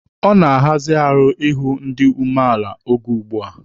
Ọ na-arazi ahụ ịhụ ndị dị umeala oge ugbua.